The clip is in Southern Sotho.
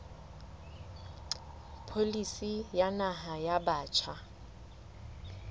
pholisi ya naha ya batjha